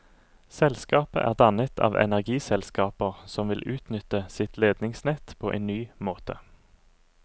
Selskapet er dannet av energiselskaper som vil utnytte sitt ledningsnett på en ny måte.